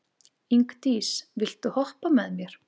Ingdís, viltu hoppa með mér?